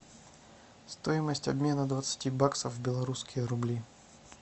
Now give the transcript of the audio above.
стоимость обмена двадцати баксов в белорусские рубли